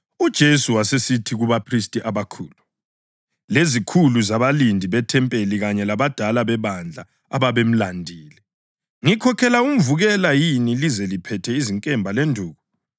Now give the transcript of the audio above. UJesu wasesithi kubaphristi abakhulu, lezikhulu zabalindi bethempeli kanye labadala bebandla ababemlandile, “Ngikhokhela umvukela yini lize liphethe izinkemba lenduku?